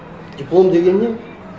диплом деген не